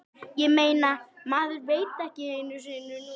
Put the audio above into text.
Ég meina, maður veit það ekki einu sinni núna.